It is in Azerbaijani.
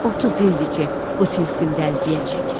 30 ildir ki, bu tilsimdə əziyyət çəkirəm.